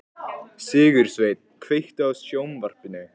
Sigursveinn, kveiktu á sjónvarpinu.